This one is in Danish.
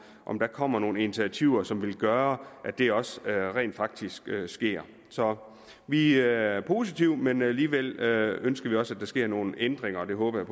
om der kommer nogle initiativer som vil gøre at det også rent faktisk sker så vi er positive men alligevel ønsker vi også at der sker nogle ændringer og det håber